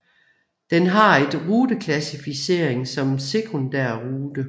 Den har en ruteklassaficering som sekundærrute